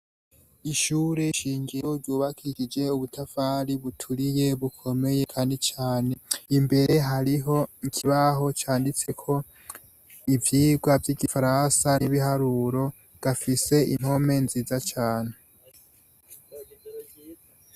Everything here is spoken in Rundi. Ishure shingiro ryubakishije ubutafari buturiye bukomeye kandi cane, imbere hariho ikibaho canditseko ivyigwa vy'igifaransa n'ibiharuro, gafise impome nziza cane.